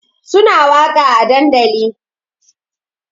Suna waƙa a dandali